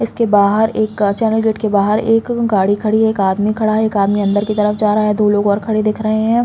इसके बाहर एक चैनल गेट के बाहर एक गाडी खड़ी है। एक आदमी खड़ा है एक आदमी अंदर की तरफ जा रहा है। दो लोग और खड़े दिख रहे हैं।